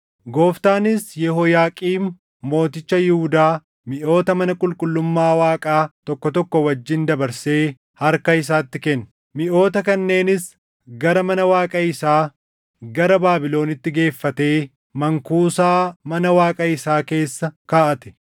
Gooftaanis Yehooyaaqiim mooticha Yihuudaa miʼoota mana qulqullummaa Waaqaa tokko tokko wajjin dabarsee harka isaatti kenne. Miʼoota kanneenis gara mana Waaqa isaa, gara Baabilonitti geeffatee mankuusaa mana Waaqa isaa keessa kaaʼate.